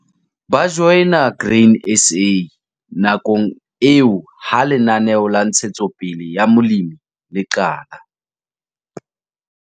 Ba joina Grain SA nakong eo ha Lenaneo la Ntshetsopele ya Molemi le qala.